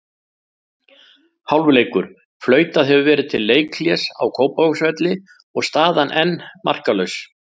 Hálfleikur: Flautað hefur verið til leikhlés á Kópavogsvelli og staðan enn markalaus.